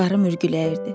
Qarı mürgüləyirdi.